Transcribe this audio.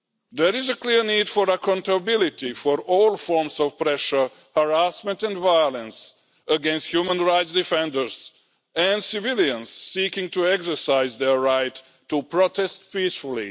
There is a clear need for accountability for all forms of pressure, harassment and violence against human rights defenders and civilians seeking to exercise their right to protest peacefully.